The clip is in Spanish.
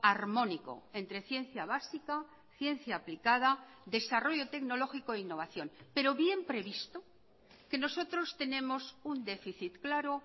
armónico entre ciencia básica ciencia aplicada desarrollo tecnológico e innovación pero bien previsto que nosotros tenemos un déficit claro